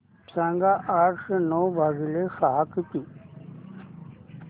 सांगा आठशे नऊ भागीले सहा किती